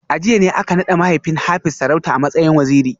A jiya ne aka nada mahaifin Hafiz sarauta a matsayin Waziri